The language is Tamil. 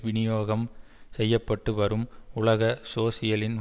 விநியோகம் செய்ய பட்டு வரும் உலக சோசியலின்